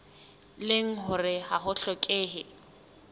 leng hore ha ho hlokehe